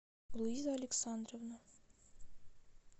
луиза александровна